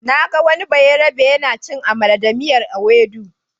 Na ga wani bayarabe yana cin amala da miyar Ewedu.